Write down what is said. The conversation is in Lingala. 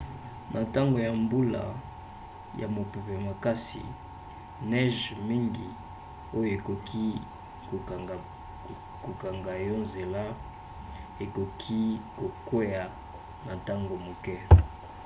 na ntango ya mbula ya mopepe makasi neige mingi oyo ekoki kokanga yo nzela ekoki kokwea na ntango moke